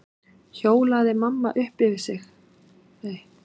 hljóðaði mamma upp yfir sig.